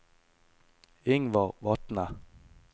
Ingvar Vatne